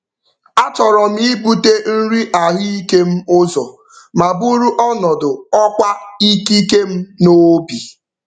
A chọrọ m ibute nri ahụike m ụzọ ma buru ọnọdụ ọkwa ikike m n'obi.